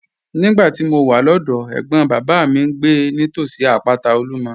Nígbà tí mo wà lọ́dọ̀ọ́, ẹ̀gbọ́n bàbá mi ń gbé nítòsí àpáta Olumo.